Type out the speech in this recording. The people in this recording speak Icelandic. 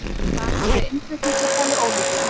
Bann við innflutningi talið ólíklegt